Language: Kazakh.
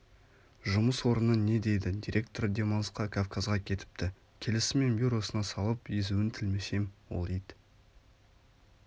жұмыс орыны не дейді директоры демалысқа кавказға кетіпті келісімен бюросына салып езуін тілмесем ол ит